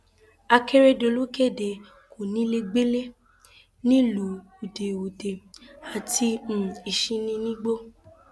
akérédọlù kéde kónílégbélé nílùú ude ude àti um ìsínigbó